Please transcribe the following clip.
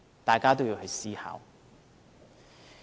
大家都要去思考。